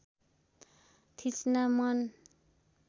थिच्न मन